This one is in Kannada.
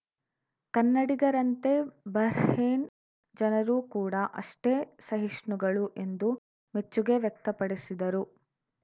ಕನ್ನಡಿಗರಂತೆ ಬಹ್ರೇನ್‌ ಜನರೂ ಕೂಡ ಅಷ್ಟೇ ಸಹಿಷ್ಣುಗಳು ಎಂದು ಮೆಚ್ಚುಗೆ ವ್ಯಕ್ತಪಡಿಸಿದರು